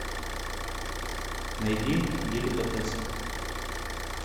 найди деликатесы